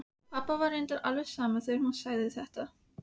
Pabba var reyndar alveg sama þegar hún sagði þetta.